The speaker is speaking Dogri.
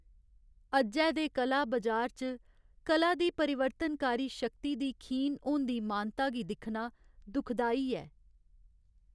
अज्जै दे कला बजार च कला दी परिवर्तनकारी शक्ति दी खीन होंदी मानता गी दिक्खना दुखदाई ऐ।